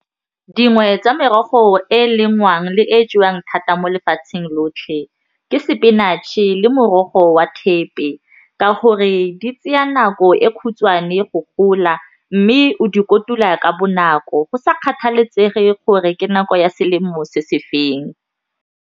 Dingwe tsa merogo e e lengwang le e jewang thata mo lefatsheng lotlhe ke spinach-e le morogo wa thepe ka gore di tseya nako e khutshwane go gola mme o di kotula ka bonako go sa kgathalesege gore ke nako ya selemo se feng.